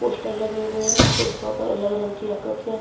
poster लगे हुए हैं उन पोस्टरों पर अलग रंग की आकृतियां --